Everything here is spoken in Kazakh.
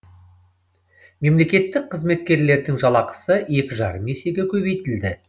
мемлекеттік қызметкерлердің жалақысы екі жарым есеге көбейтілді